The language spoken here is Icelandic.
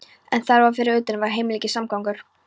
En þar fyrir utan var heilmikill samgangur.